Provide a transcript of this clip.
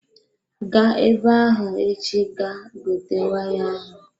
Gaa ebe ahụ echi ga gote waya ahụ!